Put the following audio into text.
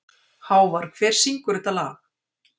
Hávarr, hver syngur þetta lag?